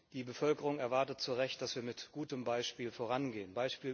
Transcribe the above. Die Bevölkerung erwartet zu Recht, dass wir mit gutem Beispiel vorangehen.